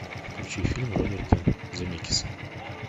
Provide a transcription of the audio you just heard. включи фильм роберта земекиса